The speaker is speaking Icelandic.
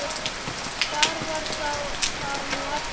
hvar var það nú aftur?